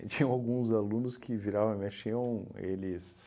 E tinham alguns alunos que viravam e mexiam, eles